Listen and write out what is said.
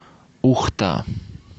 ухта